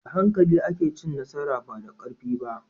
Da hankali ake cin nasara, ba da karfi ba.